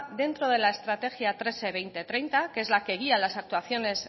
dentro de la estrategia tres e veinte treinta que es la que guías las actuaciones